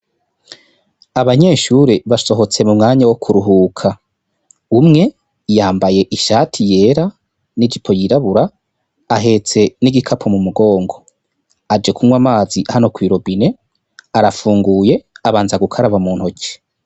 Abanyeshure basohotse mu mwanyabwo kuruhuka. Umwe yambayeb shati yera n'ijipo yirabura ahetse n'igikapo mu migongo. Aje kunywa amazi hano kw'i robine, arapfunguye, abanza gukaraba mu ntoki.